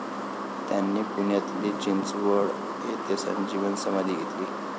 त्यांनी पुण्यातील चिंचवड येथे संजीवन समाधी घेतली.